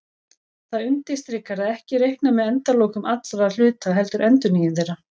Það undirstrikar að ekki er reiknað með endalokum allra hluta heldur endurnýjun þeirra.